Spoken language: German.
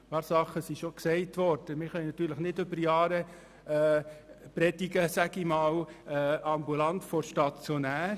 Wir können nicht während Jahren «ambulant vor stationär» predigen, möchte ich fast sagen.